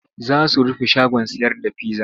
Za su rufe shagon sayar da pizza.